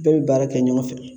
Bɛɛ bɛ baara kɛ ɲɔgɔn fɛ